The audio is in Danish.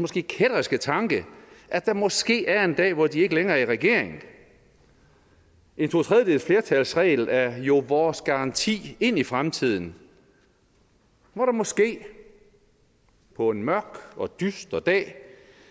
måske kætterske tanke at der måske er en dag hvor de ikke længere er i regering en totredjedelsflertalsregel er jo vores garanti ind i fremtiden hvor der måske på en mørk og dyster dag